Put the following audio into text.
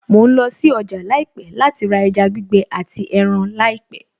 Mo ń lọ sí ọjà láìpẹ̀ láti ra ẹja gbígbẹ àti ẹran láìpẹ̀